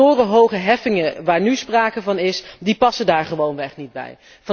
De torenhoge heffingen waar nu sprake van is, passen daar gewoonweg niet bij.